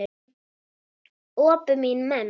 Öpum í menn.